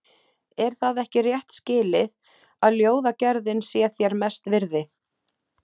Er það ekki rétt skilið, að ljóðagerðin sé þér mest virði?